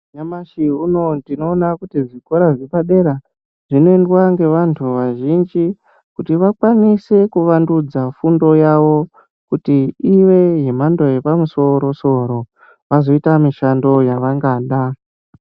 Nyamashi unowu ndinoona kuti zvikora zvepadera zvinoendwa ngevantu vazhinji kuti vakwanise kuvandudza fundo yavo kuti ive yemhando yepamusoro soro vazoita mishando yavangada.